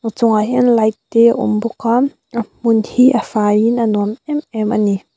chungah hian light te awm bawka a hmun hi a faiin a nuam em em ani.